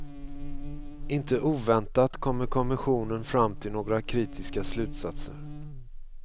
Inte oväntat kommer kommissionen fram till några kritiska slutsatser.